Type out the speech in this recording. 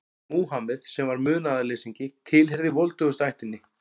Múhameð, sem var munaðarleysingi, tilheyrði voldugustu ættinni.